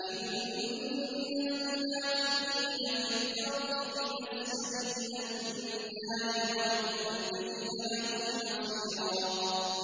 إِنَّ الْمُنَافِقِينَ فِي الدَّرْكِ الْأَسْفَلِ مِنَ النَّارِ وَلَن تَجِدَ لَهُمْ نَصِيرًا